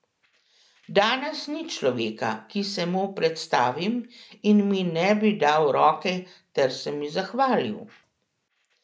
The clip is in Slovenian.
Danes ni človeka, ki se mu predstavim in mi ne bi dal roke ter se mi zahvalil.